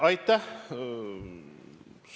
Aitäh!